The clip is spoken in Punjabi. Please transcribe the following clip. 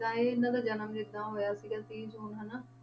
ਤਾਂ ਇਹ ਇਹਨਾਂ ਦਾ ਜਨਮ ਜਿੱਦਾਂ ਹੋਇਆ ਸੀਗਾ ਤੀਹ ਜੂਨ ਹਨਾ,